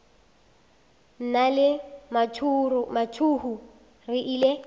nna le mathuhu re ile